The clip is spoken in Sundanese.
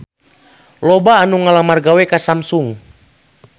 Loba anu ngalamar gawe ka Samsung